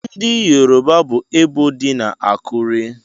Ndị Yoruba bu ebò dị na Akure.